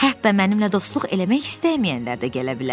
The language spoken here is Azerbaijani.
Hətta mənimlə dostluq eləmək istəməyənlər də gələ bilər.